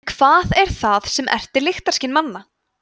en hvað er það sem ertir lyktarskyn manna